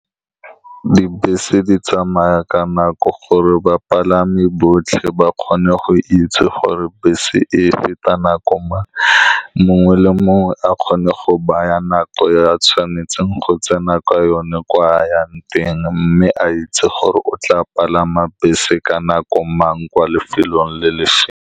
Dibese di tsamaya ka nako, gore bapalami botlhe ba kgone go itse gore bese e feta nako mang. Mongwe le mongwe a kgone go baya nako ya tshwanetseng go tsena ka yone, kwa a yang teng, mme a itse gore o tla palama bese ka nako mang kwa lefelong le le feng.